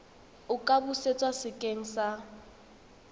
a ka busetswa sekeng sa